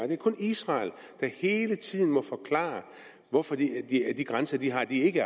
det er kun israel der hele tiden må forklare hvorfor de grænser de har ikke